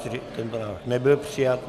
Tento návrh nebyl přijat.